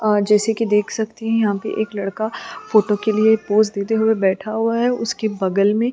और जैसे कि देख सकती है यहाँ पर एक लड़का फोटो के लिए पोस देते हुए बैठा हुआ है उसके बगल में--